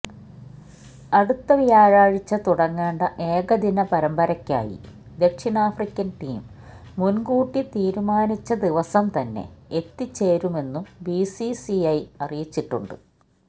അടുത്ത വ്യാഴാഴ്ച തുടങ്ങേണ്ട ഏകദിന പരമ്പരയ്ക്കായി ദക്ഷിണാഫ്രിക്കന് ടീം മുന്കൂട്ടി തീരുമാനിച്ച ദിവസംതന്നെ എത്തിച്ചേരുമെന്നും ബിസിസിഐ അറിയിച്ചിട്ടുണ്ട്